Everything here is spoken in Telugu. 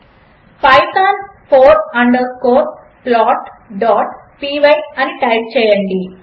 పైథాన్ ఫోర్ అండర్ స్కోర్ plotపై అని టైప్ చేయండి